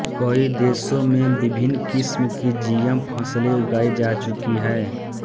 कई देशों में विभिन्न किस्म की जीएम फसलें उगाई जा चुकी हैं